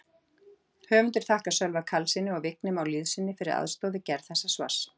Höfundar þakkar Sölva Karlssyni og Vigni Má Lýðssyni fyrir aðstoð við gerð þessa svars.